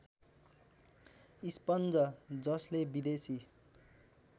sponge जसले विदेशी